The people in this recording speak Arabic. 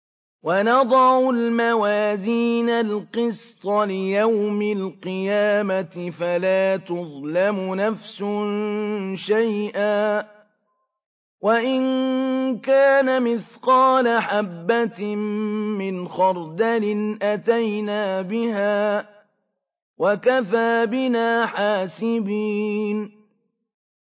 وَنَضَعُ الْمَوَازِينَ الْقِسْطَ لِيَوْمِ الْقِيَامَةِ فَلَا تُظْلَمُ نَفْسٌ شَيْئًا ۖ وَإِن كَانَ مِثْقَالَ حَبَّةٍ مِّنْ خَرْدَلٍ أَتَيْنَا بِهَا ۗ وَكَفَىٰ بِنَا حَاسِبِينَ